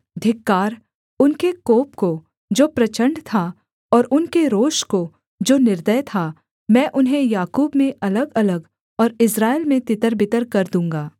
धिक्कार उनके कोप को जो प्रचण्ड था और उनके रोष को जो निर्दय था मैं उन्हें याकूब में अलगअलग और इस्राएल में तितरबितर कर दूँगा